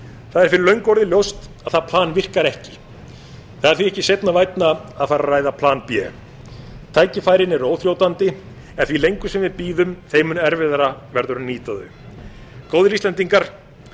það er fyrir löngu orðið ljóst að það plan virkar ekki það er því ekki seinna vænna að fara að ræða plan b tækifærin eru óþrjótandi en því lengur sem við bíðum þeim mun erfiðara verður að nýta þau góðir íslendingar